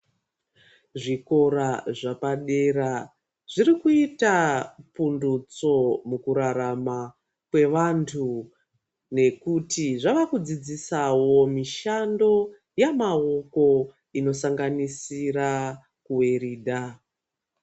Zvikora zvapadera zvirikuita pundutso mukurarama kwavanhu nekuti zvavakudzidsisawo mishando yamawoko inosanganisira kuweridha